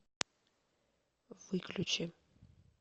выключи